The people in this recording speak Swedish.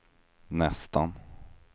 nästan